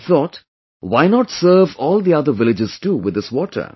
He thought... why not serve all the other villagers too with this water